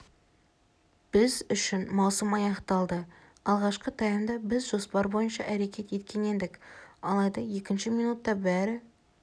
біз үшін маусым аяқталды алғашқы таймда біз жоспар бойынша әрекет еткен едік алайда екінші минутта бәрі